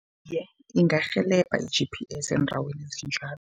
Ingarhelebha i-G_P_S, eendaweni ezinjalo.